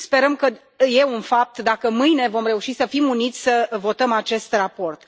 Sperăm că e un fapt dacă mâine vom reuși să fim uniți să votăm acest raport.